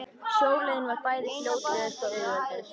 Sjóleiðin var bæði fljótlegust og auðveldust.